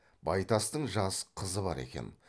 байтастың жас қызы бар екен